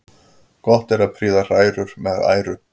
Gott er að prýða hrærur með æru.